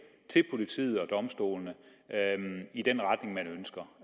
til politiet og domstolene i den retning man ønsker